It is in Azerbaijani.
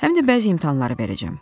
Həm də bəzi imtahanları verəcəyəm.